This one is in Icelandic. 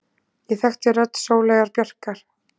Ég þekkti rödd Sóleyjar Bjarkar.